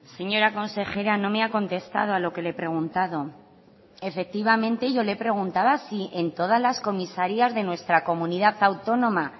señora consejera no me ha contestado a lo que le he preguntado efectivamente yo le he preguntaba si en todas las comisarias de nuestra comunidad autónoma